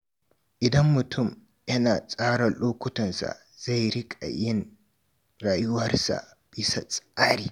Idan mutum yana tsara lokutansa za riƙa yin rayuwarsa bisa tsari.